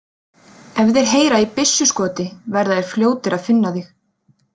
Ef þeir heyra í byssuskoti verða þeir fljótir að finna þig